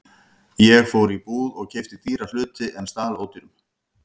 Ég fór í búð og keypti dýra hluti en stal ódýrum.